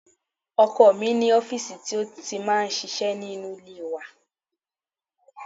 Ọkọ mi ní ọfísì ti ó ti máa ń ṣiṣẹ́ nínú ilé wa